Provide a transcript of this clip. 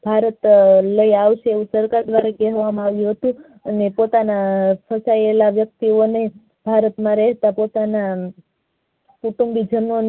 ભારત લઈ આવશે એમ સરકાર દ્વારા કહેવામાં આવ્યુ હતું અને પોતાના છુપાયેલા વ્યક્તિ ઓ ને ભારત માં રહેતા પોતાના કુટુંબી જનોને